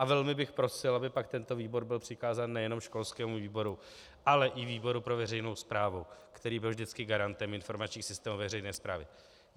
A velmi bych prosil, aby pak tento výbor byl přikázán nejenom školskému výboru, ale i výboru pro veřejnou správu, který byl vždycky garantem informačních systémů veřejné správy.